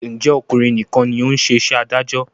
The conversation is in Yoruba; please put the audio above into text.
Ǹjẹ́ ọkùnrin nìkan ni ó ń ṣe iṣẹ́ adájọ́?